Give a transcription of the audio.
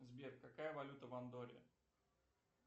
сбер какая валюта в андорре